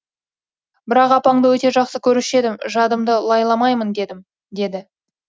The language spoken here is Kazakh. бірақ апаңды өте жақсы көруші едім жадымды лайламайын дедім деді